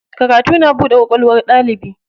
Karatu na buɗe kwakwalwar ɗalibi.